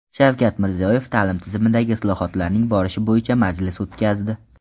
Shavkat Mirziyoyev ta’lim tizimidagi islohotlarning borishi bo‘yicha majlis o‘tkazdi.